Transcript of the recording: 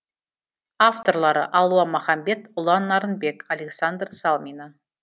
авторлары алуа махамбет ұлан нарынбек александра салмина